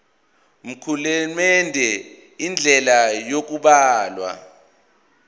mkulandelwe indlela yokubhalwa